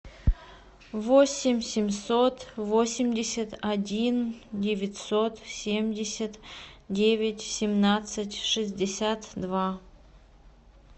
восемь семьсот восемьдесят один девятьсот семьдесят девять семнадцать шестьдесят два